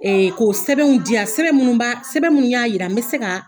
Ee ko sɛbɛnw diyan, sɛbɛn minnuw b'a, sɛbɛn minnuw y'a yira n bɛ se ka